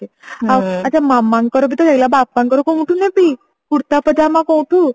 ଆଛା ଆଉ ମାମାଙ୍କର ବି ତ ହେଇଗଲା ବାପାଙ୍କର କୋଉଠୁ ନେବି କୁର୍ତା ପଜାମା କୋଉଠୁ